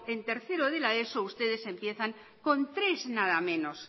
en tercero de la eso ustedes empiezan con tres nada menos